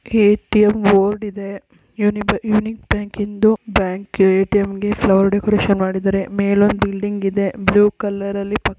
ATM board ಇದೆ unique ಬ್ಯಾಂಕಿಂ ದು ಬ್ಯಾಂಕ್ ಎ.ಟಿ.ಎಂ ಗೆ ಫ್ಲವರ್ ಡೆಕೋರೇಷನ್ ಮಾಡಿದ್ದಾರೆ ಮೇಲೊಂದು ಬಿಲ್ಡಿಂಗ್ ಇದೇ ಬ್ಲೂ ಕಲರ್ ಅಲ್ಲಿ --